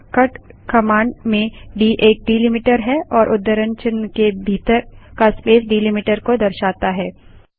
यहाँ cut command में d एक डैलिमीटर है और उद्धरण चिन्ह के भीतर का स्पेस डैलिमीटर को दर्शाता है